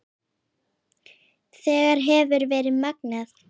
Þetta hefur verið magnað.